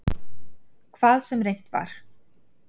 Hvað sem reynt var.